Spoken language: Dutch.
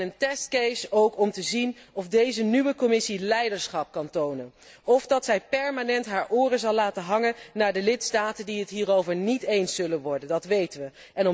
Een testcase ook om te zien of deze nieuwe Commissie leiderschap kan tonen of dat zij permanent haar oren zal laten hangen naar de lidstaten die het hierover niet eens zullen worden, dat weten wij.